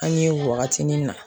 An ye wagatinin na